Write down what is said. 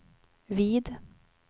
vid